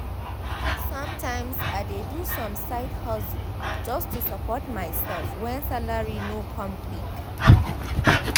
sometimes i dey do some side hustle just to support myself when salary no come quick